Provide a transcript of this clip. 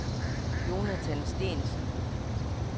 Jonathan Steensen